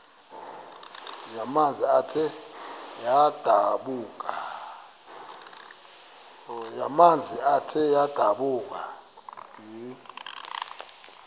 yamanzi ethe yadlabhuka